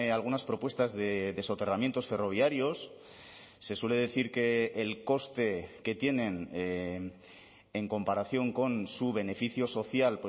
algunas propuestas de soterramientos ferroviarios se suele decir que el coste que tienen en comparación con su beneficio social